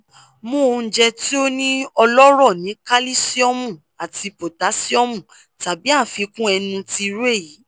mu ounjẹ ti o ni ọlọrọ ni kalisiomu ati potasiomu tabi afikun ẹnu ti iru eyi